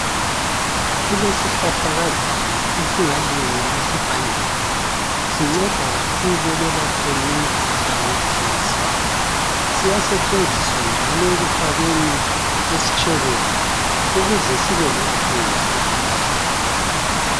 Kulesihlahlakazane esingalinywa esivandeni. Sinceda kakhulu ekwelapheni imikhuhlane ethize. Siyasetshenziswa njalo ekufakeni esitshebeni ukuze sibe lephunga elihle.